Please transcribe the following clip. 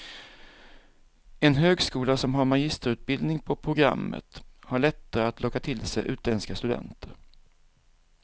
En högskola som har magisterutbildning på programmet har lättare att locka till sig utländska studenter.